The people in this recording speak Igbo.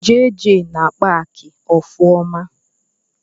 Jeje na-akpa akị ọfụma